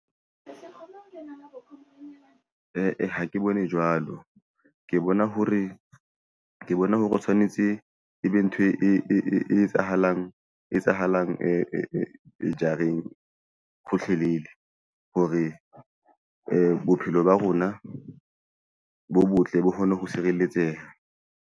Eh-eh, ha ke bone jwalo, ke bona hore ke tshwanetse e be ntho e etsahalang jareng hore bophelo ba rona bo botle bo kgone ho sireletseha.